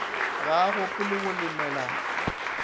ga a gopole go lemela